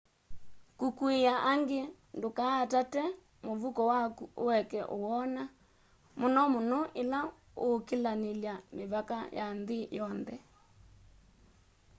kukuia angi ndukaatate muvuko waku ueke uwona muno muno ila uukilanilya mivaka ya nthi yonthe